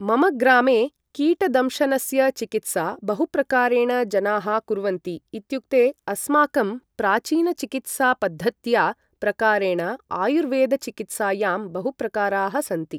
मम ग्रामे कीटदंशनस्य चिकित्सा बहुप्रकारेण जनाः कुर्वन्ति इत्युक्ते अस्माकं प्राचीनचिकित्सापद्धत्या प्रकारेण आयुर्वेदचिकित्सायां बहुप्रकाराः सन्ति ।